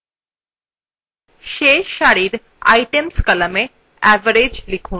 শেষ সারির items কলামে average likhun